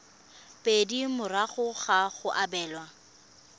pedi morago ga go abelwa